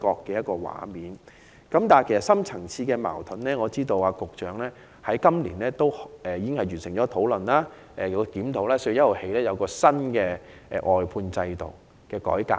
至於當中的深層次矛盾，我知道局長在今年已完成討論和檢討，並自4月1日起推出外判制度改革。